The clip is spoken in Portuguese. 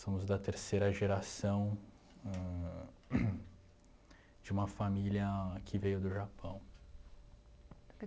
Somos da terceira geração ãh de uma família que veio do Japão.